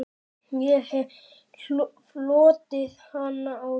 Ég hef hlotið hana áður.